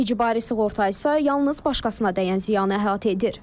İcbari sığorta isə yalnız başqasına dəyən ziyanı əhatə edir.